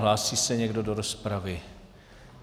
Hlásí se někdo do rozpravy?